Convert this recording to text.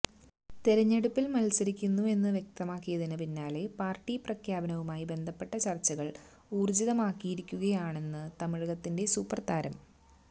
തിരഞ്ഞെടുപ്പിൽ മത്സരിക്കുന്നു എന്ന് വ്യക്തമാക്കിയതിന് പിന്നാലെ പാർട്ടി പ്രഖ്യാപനവുമായി ബന്ധപ്പെട്ട ചർച്ചകൾ ഊർജിതമാക്കിയിരിക്കുകയാണണ് തമിഴകത്തിന്റെ സൂപ്പർ താരം